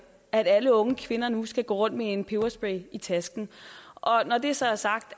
at alle unge kvinder nu skal gå rundt med en peberspray i tasken når det så er sagt